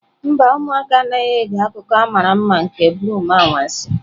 Mba, ụmụaka anaghị ege akụkọ a mara mma nke broom anwansi.